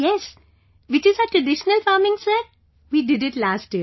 Yes, which is our traditional farming Sir; we did it last year